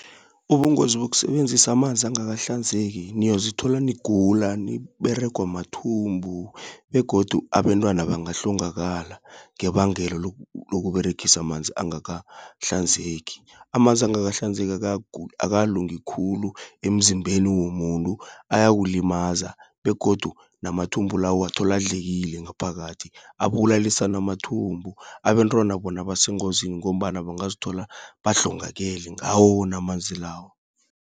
Ubungozi bokusebenzisa amanzi angakahlanzeki, niyozithola nikugula niberegwa mathumbu, begodu abentwana bangahlongakala, ngebangelo lokuberegisa amanzi angakahlanzeki. Amanzi angakahlanzeki akalungi khulu, emzimbeni womuntu, ayawulimaza. Begodu namathumbo lawo, uwathola adlekile ngaphakathi. Abulalisa namathumbu, abentwana bona basengozini, ngombana bangazithola bahlongakale ngawo wona amanzi lawo.